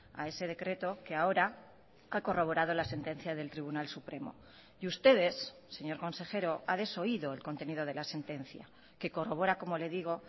a ese decreto que ahora ha corroborado la sentencia del tribunal supremo y ustedes señor consejero ha desoído el contenido de la sentencia que corrobora como le digo